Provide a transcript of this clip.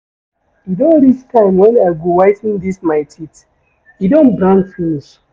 E don reach time wen I go whi ten dis my teeth, e don brown finish.